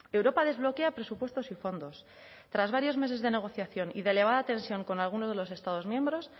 europa desbloquea presupuestos y fondos tras varios meses de negociación y de elevada tensión con alguno de los estados miembros